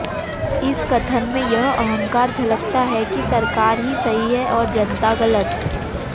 इस कथन में यह अहंकार झलकता है कि सरकार ही सही है और जनता गलत